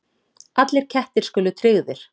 Allir kettir skuli tryggðir